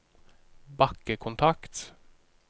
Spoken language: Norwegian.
bakkekontakt